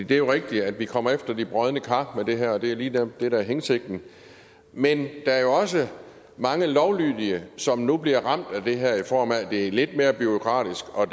det er jo rigtigt at vi kommer efter de brodne kar med det her og det er jo lige netop det der er hensigten men der er også mange lovlydige som nu bliver ramt af det her i form af at det er lidt mere bureaukratisk og